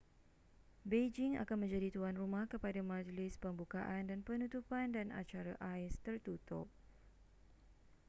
beijing akan menjadi tuan rumah kepada majlis pembukaan dan penutupan dan acara ais tertutup